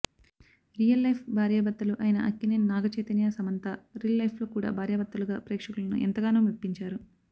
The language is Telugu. రియల్ లైఫ్ భార్య భర్తలు అయిన అక్కినేని నాగచైతన్య సమంత రిల్ లైఫ్లో కూడా భార్యాభర్తలుగా ప్రేక్షకులను ఎంతగానో మెప్పించారు